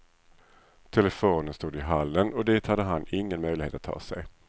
Telefonen stod i hallen, och dit hade han ingen möjlighet att ta sig.